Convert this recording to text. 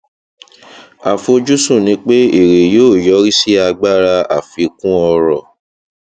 àfojúsùn ni pé èrè yóò yọrí sí agbára àfikún ọrọ